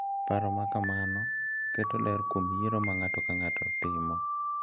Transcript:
Paro ma kamano keto ler kuom yiero ma ng’ato ka ng’ato timo